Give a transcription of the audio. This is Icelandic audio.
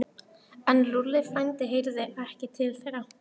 Þá var hann allhvass á sunnan.